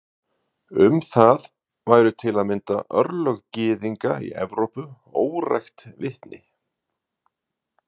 Um það væru til að mynda örlög gyðinga í Evrópu órækt vitni.